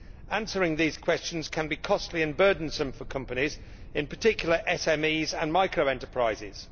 Answering these questions can be costly and burdensome for companies, in particular SMEs and micro enterprises.